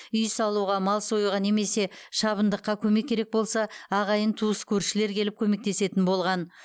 үй салуға мал союға немесе шабындыққа көмек керек болса ағайын туыс көршілер келіп көмектесетін болған